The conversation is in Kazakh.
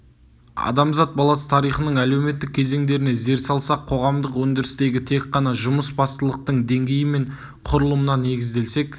адамзат баласы тарихының әлеуметтік кезеңдеріне зер салсақ қоғамдық өндірістегі тек қана жұмыс бастылықтың деңгейі мен құрылымына негізделсек